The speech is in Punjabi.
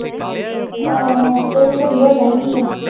ਹਾਂ ਤੇ ਤੂੰ ਸਮਝਾਉਂਦਾ ਹੀ ਨੀ ਹੈ।